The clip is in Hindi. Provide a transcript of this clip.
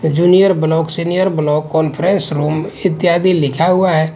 Junior block senior block conference room इत्यादि लिखा हुआ हैं।